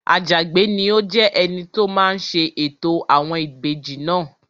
Àjàgbé ni yóò jẹ́ ẹni tó máa ṣe ètò àwọn ìbejì náà